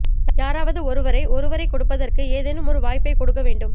யாராவது ஒருவரை ஒருவரைக் கொடுப்பதற்கு ஏதேனும் ஒரு வாய்ப்பைக் கொடுக்க வேண்டும்